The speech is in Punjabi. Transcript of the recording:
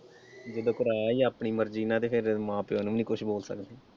ਜਦੋਂ ਕਰਾਇਆ ਈ ਆਪਣੀ ਮਰਜੀ ਨਾਲ ਤੇ ਫਿਰ ਮਾਂ ਪਿਓ ਨੂੰ ਵੀ ਨਈਂ ਕੁਛ ਬੋਲ ਸਕਦੇ।